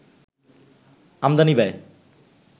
আমদানি ব্যয়